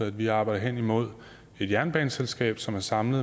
at vi arbejder hen imod et jernbaneselskab som samler